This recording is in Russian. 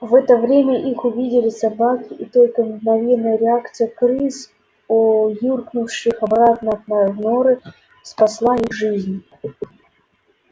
в это время их увидели собаки и только мгновенная реакция крыс юркнувших обратно в норы спасла их жизнь